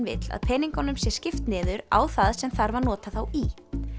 vill að peningunum sé skipt niður á það sem þarf að nota þá í